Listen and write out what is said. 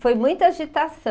Foi muita agitação.